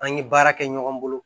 An ye baara kɛ ɲɔgɔn bolo